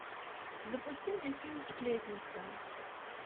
запусти мне фильм сплетница